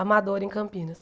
Amador em Campinas.